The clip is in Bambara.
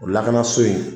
O lakanaso in